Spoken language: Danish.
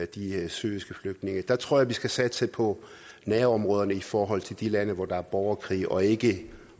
de syriske flygtninge jeg tror at vi skal satse på nærområderne i forhold til de lande hvor der er borgerkrig og ikke